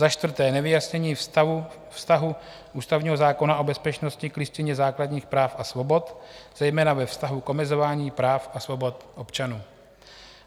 Za čtvrté nevyjasnění vztahu ústavního zákona o bezpečnosti k Listině základních práv a svobod, zejména ve vztahu k omezování práv a svobod občanů.